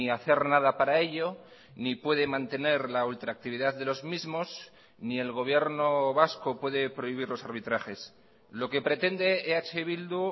hacer nada para ello ni puede mantener la ultractividad de los mismos ni el gobierno vasco puede prohibir los arbitrajes lo que pretende eh bildu